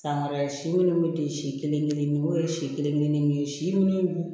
San wɛrɛ si minnu bɛ di si kelen kelenninw ye si kelen kelennin si min